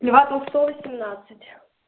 льва толстого семьнадцать